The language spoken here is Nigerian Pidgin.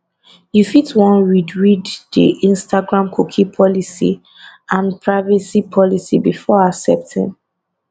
you fit wan read read di instagram cookie policy and privacy policy before accepting